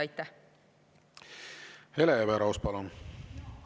Hele Everaus, palun!